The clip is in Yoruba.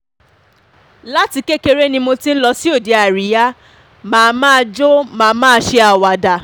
láti kékeré ni mo ti ń lọ sí òde àríyá má máa jọ má máa ṣe àwàdà